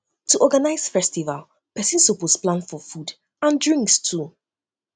to organize festival persin suppose plan for food for food and drinks too